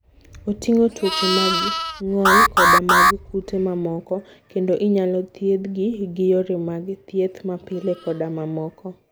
Oting'o tuoche mag ng'ol koda mag kute mamoko, kendo inyalo thiedhgi gi yore mag thieth mapile koda mamoko.